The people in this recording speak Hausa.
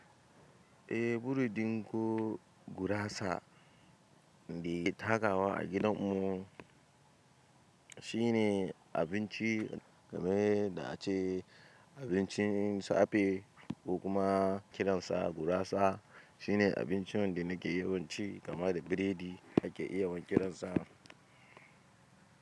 Buri ɗinku gurasa takawa a gidan mu shine abinci game da ce abincin safe ko kuma kiransa gurasa shine abincin da nake yawan ci gama da biredi ake iya yawan kiransa.